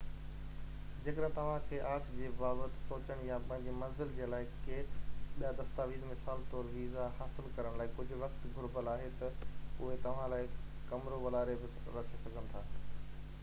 جيڪڏهن توهان کي آڇ جي بابت سوچڻ يا پنهنجي منزل جي لاءِ ڪي ٻيا دستاويز مثال طور ويزا حاصل ڪرڻ لاءِ ڪجهہ وقت گهربل آهي تہ اهي توهان لاءِ ڪمرو والاري بہ رکي سگهن ٿا